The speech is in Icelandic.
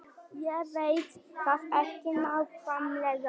Ég veit það ekki nákvæmlega.